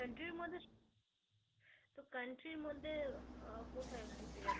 country র মধ্যে তো country মধ্যে